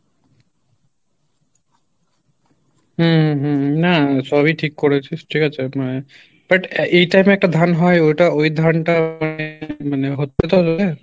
উম hmm না না সবই ঠিক করেছিস ঠিক আছে, but এ time এ একটা ধান হয় ওটা ওই ধানটা মানে